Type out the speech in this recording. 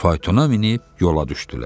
Faytona minib yola düşdülər.